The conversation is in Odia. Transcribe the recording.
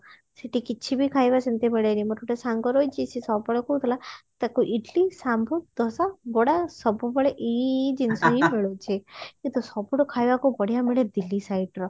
ସେଠି କିଛି ବି ଖାଇବା ସେମତି ମିଳେନି ମୋର ଗୋଟେ ସାଙ୍ଗ ରହିଛି ସେ ସବୁବେଳେ କହୁଥିଲା ତାକୁ ଇଡିଲି ଶାମ୍ବର ଦୋସା ବଡା ସବୁ ବେଳେ ଏଇ ଏଇ ଜିନିଷ ହିଁ ମିଳୁଛି କିନ୍ତୁ ସବୁଠୁ ବଢିଆ ଖାଇବା ମିଳେ ଦିଲ୍ଲୀ side ର